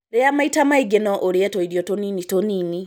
Rĩa maita maingĩno ũrĩe tũirio tũnini tũnini.